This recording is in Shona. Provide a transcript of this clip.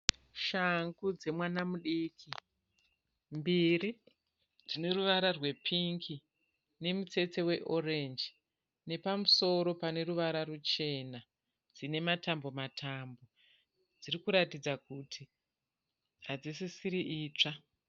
Shangu dzemwana mudiki, mbiri dzine ruvara rwepingi nemutsetse we orenji nepamusoro pane ruvara ruchena. Dzine matambo matambo dziri kuratidza kuti hadzisisiri itsva.